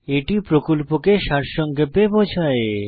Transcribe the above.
এটি প্রকল্পকে সারসংক্ষেপে বোঝায়